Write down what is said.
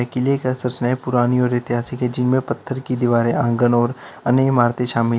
किले का पुरानी और ऐतिहासिक हैं जिनमें पत्थर की दीवारें आंगन और अन्य इमारतें शामिल--